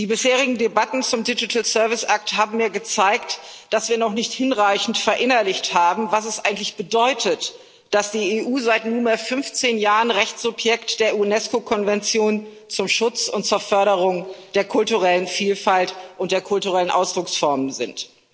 Die bisherigen Debatten zum haben mir gezeigt, dass wir noch nicht hinreichend verinnerlicht haben, was es eigentlich bedeutet, dass die EU seit nunmehr 15 Jahren Rechtssubjekt der UNESCO Konvention zum Schutz und zur Förderung der kulturellen Vielfalt und der kulturellen Ausdrucksformen ist.